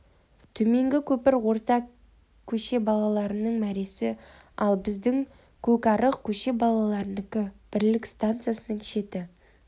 төменгі көпір орта көше балаларының мәресі ал біздің көкарық көше балаларынікі бірлік стансасының шеті